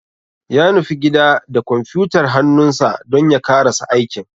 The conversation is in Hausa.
Ya nufi gida da kwamfuyutar hannunsa dan ya karasa aikin.